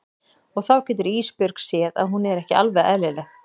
Og þá getur Ísbjörg séð að hún er ekki alveg eðlileg.